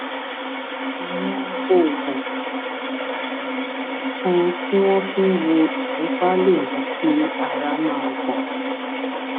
àwọn oògùn kan tí wọn fi ń wo ìfúnpá lè mú kí ara máa gbọn